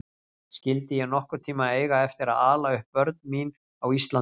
Skyldi ég nokkurn tíma eiga eftir að ala upp börn mín á Íslandi?